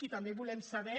i també volem saber